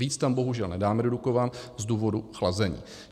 Víc tam bohužel nedáme do Dukovan z důvodu chlazení.